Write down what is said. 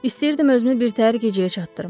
İstəyirdim özümü birtəhər gecəyə çatdırım.